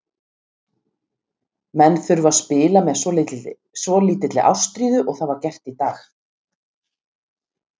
Menn þurfa að spila með svolítilli ástríðu og það var gert í dag.